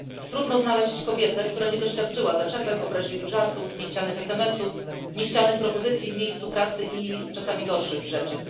Trudno znaleźć kobietę, która nie doświadczyła zaczepek, obraźliwych żartów, niechcianych esemesów, niechcianych propozycji w miejscu pracy, a czasami gorszych rzeczy.